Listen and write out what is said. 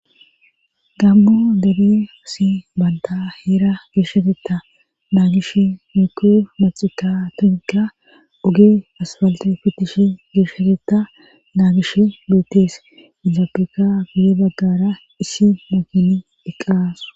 Gammu dere si banda heera geshshateta naagish muku maxita tinka oge asfalte fitishi geeshshateta naagish beettes izaapeka guye baggara issi mokini eqqasu